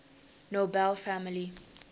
nobel family